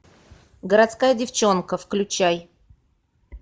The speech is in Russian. городская девчонка включай